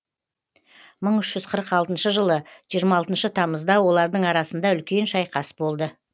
мың үш жүз қырық алтыншы жылы жиырма алтыншы тамызда олардың арасында үлкен шайқас болды